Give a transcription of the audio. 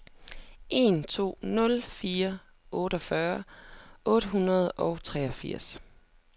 en to nul fire otteogfyrre otte hundrede og treogfirs